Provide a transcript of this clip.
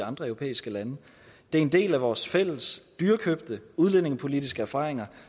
andre europæiske lande det er en del af vores fælles dyrekøbte udlændingepolitiske erfaringer